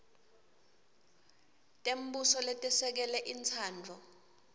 tembuso letesekele intsandvo